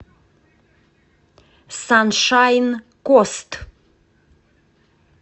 саншайн кост